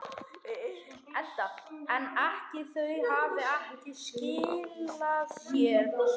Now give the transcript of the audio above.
Edda: En ekki, þau hafa ekki skilað sér þá?